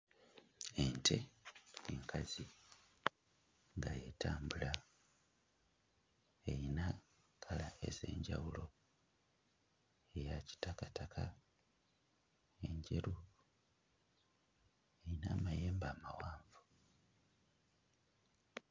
Ente enkazi nga etambula eyina kkala ez'enjawulo eya kitakataka, enjeru. Eyina amayembe amawanvu.